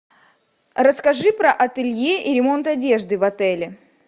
расскажи про ателье и ремонт одежды в отеле